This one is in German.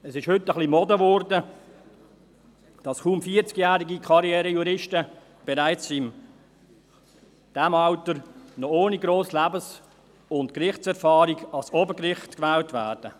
Es ist heute etwas zur Mode geworden, dass kaum vierzigjährige Karriere-Juristen bereits in diesem Alter, ohne grosse Lebens- und Gerichtserfahrung, ans Obergericht gewählt werden.